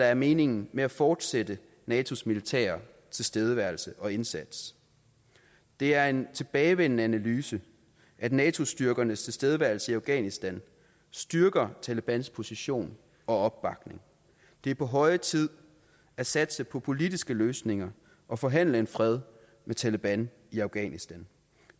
er meningen med at fortsætte natos militære tilstedeværelse og indsats det er en tilbagevendende analyse at nato styrkernes tilstedeværelse i afghanistan styrker talebans position og opbakning det er på høje tid at satse på politiske løsninger og forhandle en fred med taleban i afghanistan